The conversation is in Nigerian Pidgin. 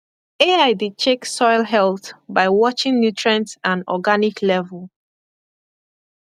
ai dey check soil health by watching nutrient and organic level